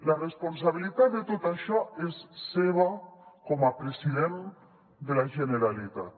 la responsabilitat de tot això és seva com a president de la generalitat